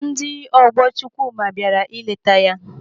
Ndị ọgbọ Chukwuma bịara ileta ya.